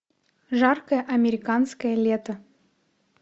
жаркое американское лето